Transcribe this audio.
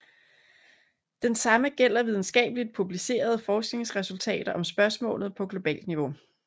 Den samme gælder videnskabeligt publicerede forskningsresultater om spørgsmålet på globalt niveau